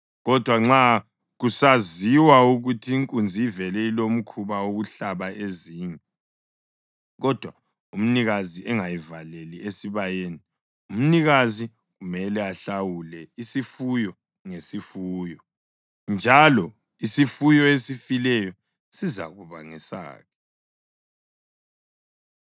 Kodwa nxa kusaziwa ukuthi inkunzi ivele ilomkhuba wokuhlaba ezinye, kodwa umnikazi engayivaleli esibayeni, umnikazi kumele ahlawule isifuyo ngesinye isifuyo, njalo isifuyo esifileyo sizakuba ngesakhe.”